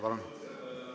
Palun!